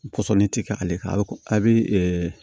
Kɔsɔnni ti kɛ ale kan a be ko a be